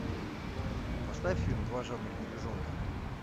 поставь фильм два жадных медвежонка